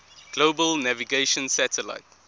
global navigation satellite